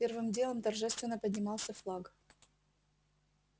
первым делом торжественно поднимался флаг